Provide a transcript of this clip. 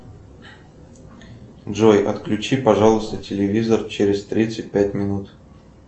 джой отключи пожалуйста телевизор через тридцать пять минут